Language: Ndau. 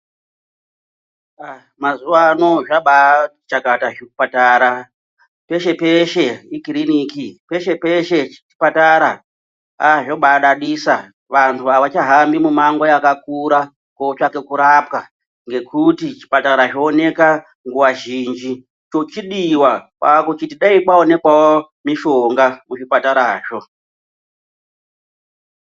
Mazuvaano zvabaati chakata zvipatara peshe peshe ikiriniki peshe peshe chipatara aa zvobaadadisa vantu havachahambi mimango yakakura kotsvaka kurapwa ngekuti zvipatara zvooneka nguva zhinji chochidiwa kwakuchiti dayi kwaonekwawo mishonga kuzvipatarazvo.